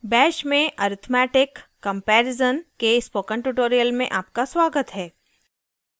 bash में arithmetic comparison के spoken tutorial में आपका स्वागत है